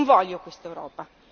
Non voglio quest'Europa!